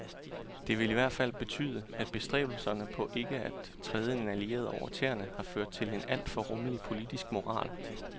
Det vil i hvert tilfælde betyde, at bestræbelserne på ikke at træde en allieret over tæerne har ført til en alt for rummelig politisk moral.